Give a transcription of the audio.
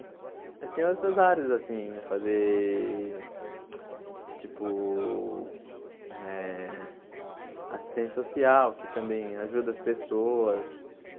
Mas tem outras áreas, assim, eu fazer, tipo, eh assistente social, que também ajuda as pessoas.